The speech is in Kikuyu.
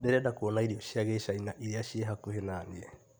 Ndĩrenda kuona irio cia Gĩcaina iria ciĩ hakuhĩ na niĩ .